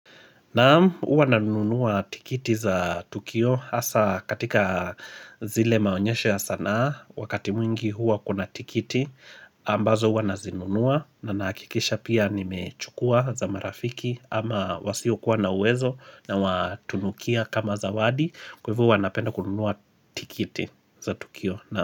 Naam uwa nanunua tikiti za Tukio Asa katika zile maonyeshe ya sana Wakati mwingi huwa kuna tikiti ambazo uwa nazinunua na nakikisha pia nimechukua za marafiki ama wasi okuwa na wezo na watunukia kama zawadi Kwevu wanapenda kununua tikiti za Tukio.